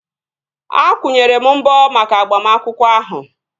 Akwụnyere m mbọ maka agbamakwụkwọ ahụ